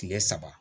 Tile saba